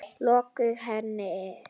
Lokuðu hér inni.